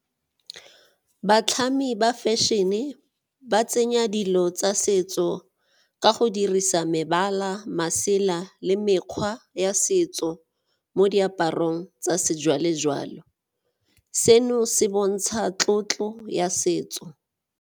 Batlhami ba fashion-e ba tsenya dilo tsa setso ka go dirisa mebala masela le mekgwa ya setso mo diaparong tsa sejwalejwale, seno se bontsha tlotlo ya setso.